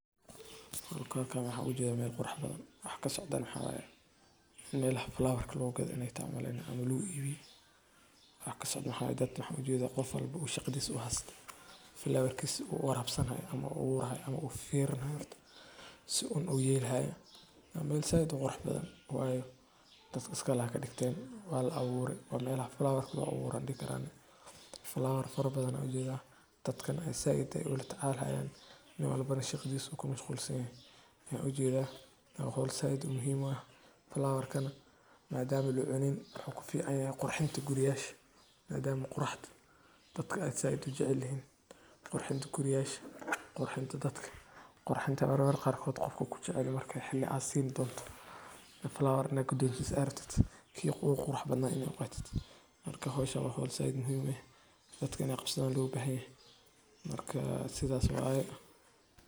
Dulkan waxaa ujedha meel qurax badan waxaa kasocdana waxaa waye melaha flower ka lagu gadho waye umaleyni ama lagu ibiyo waxan ujedha qof walbawo in u shaqadhis hasto flower kisa u warabsanayo ama u aburayo ama u fafirini hayo si un u yeli hayo ama said u qurux badan dadka iska. lahayen kadigten waa la abure waa meelaha flower ka lagu aburo ayan dihi karaa flower fara badan aya labure dadkana said aya lola tacalaya nin walbana shaqadisa ayu ku mashqul san yahay waxan ujeda hol said muhiim u ah flower kana madama lacunin wuxuu ku fican yahay qurxinta guriyasha madama quraxda dadka ee said u jecelyihin qurxinta guriyasha qurxinta dadka qirxinta mar marka qarkod qofka kujecelyoho aa sineyso flower in aa gudonsiso aa rabto marka howshan waa hol aad muhiim eh dadka in ee qabsadhan lo bahan yahay marka sithas waye.